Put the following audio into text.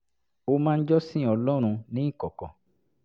ó máa ń jọ́sìn ọlọ́run ní ìkọ̀kọ̀